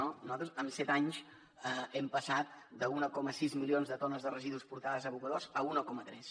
nosaltres en set anys hem passat d’un coma sis milions de tones de residus portades a abocadors a un coma tres